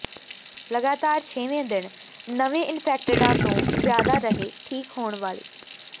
ਲਗਾਤਾਰ ਛੇਵੇਂ ਦਿਨ ਨਵੇਂ ਇਨਫੈਕਟਿਡਾਂ ਤੋਂ ਜ਼ਿਆਦਾ ਰਹੇ ਠੀਕ ਹੋਣ ਵਾਲੇ